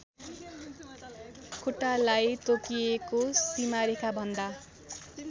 खुट्टालाई तोकिएको सीमारेखाभन्दा